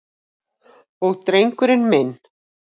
Og drengurinn minn.